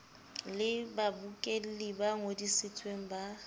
le babokelli ba ngodisitsweng ba